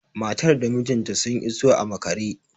Matar da mijinta sun iso a maƙare